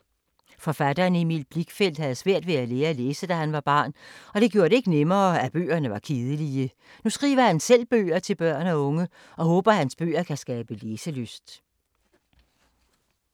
Forfatteren Emil Blichfeldt havde svært ved at lære at læse, da han var barn, og det gjorde det ikke nemmere at bøgerne var kedelige. Nu skriver han selv bøger til børn og unge, og håber at hans bøger kan skabe læselyst.